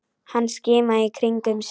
Hann skimaði í kringum sig.